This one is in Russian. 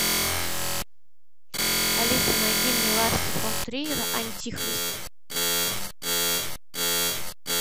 алиса найди мне ларса фон триера антихрист